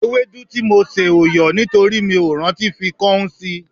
Ewédú tí mo sè ò yọ̀ nítorí mi ò rántí fi káún sí l